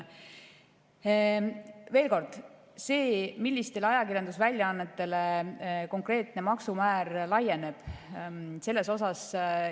Veel kord: selles, millistele ajakirjandusväljaannetele konkreetne maksumäär laieneb, muudatusi ei toimu.